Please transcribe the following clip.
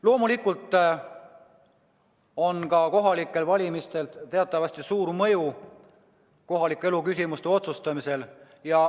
Loomulikult on ka kohalikel valimistel teatavasti suur mõju kohaliku elu küsimuste otsustamisele.